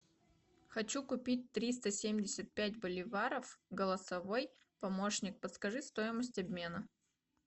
хочу купить триста семьдесят пять боливаров голосовой помощник подскажи стоимость обмена